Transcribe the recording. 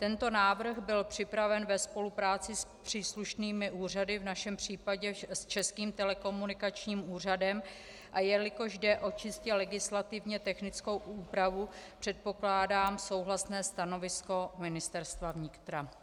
Tento návrh byl připraven ve spolupráci s příslušnými úřady, v našem případě s Českým telekomunikačním úřadem, a jelikož jde o čistě legislativně technickou úpravu, předpokládám souhlasné stanovisko Ministerstva vnitra.